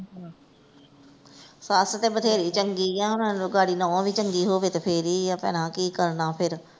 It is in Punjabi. ਸੱਸ ਤੇ ਬਥੇਰੀ ਚੰਗੀ ਆ ਗਾੜੀ ਨੂੰਹ ਵੀ ਚੰਗੀ ਹੋਵੇ ਤੇ ਫੇਰ ਹੀ ਆ ਭੈਣਾਂ ਕਿ ਕਰਨਾ ਫੇਰ।